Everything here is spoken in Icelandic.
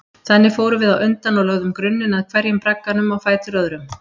Þannig fórum við á undan og lögðum grunninn að hverjum bragganum á fætur öðrum.